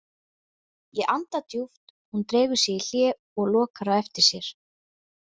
Ég anda djúpt, hún dregur sig í hlé og lokar á eftir sér.